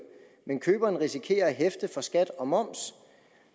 men køberen risikerer at hæfte for skat og moms